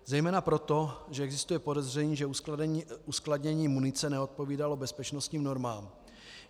Zejména proto, že existuje podezření, že uskladnění munice neodpovídalo bezpečnostním normám.